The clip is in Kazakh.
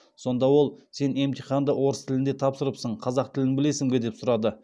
сонда ол сен емтиханды орыс тілінде тапсырыпсың қазақ тілін білесің бе деп сұрады